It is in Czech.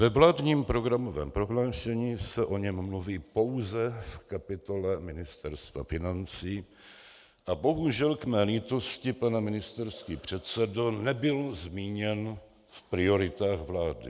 Ve vládním programovém prohlášení se o něm mluví pouze v kapitole Ministerstva financí a bohužel k mé lítosti, pane ministerský předsedo, nebyl zmíněn v prioritách vlády.